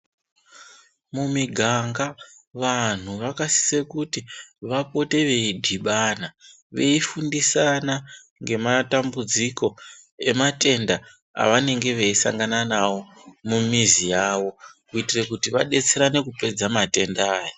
Mu miganga vanhu vakasise kuti vapote vei dhibana vei fundisana nge matambudziko e matenda anenge veyi sangana nawo mu mizi yawo kuitire kuti vadetserane kupedza matenda aya.